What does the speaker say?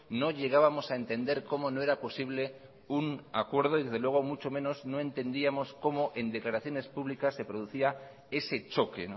no llegábamos a entender como no era posible un acuerdo y desde luego mucho menos no entendíamos como en declaraciones públicas se producía ese choque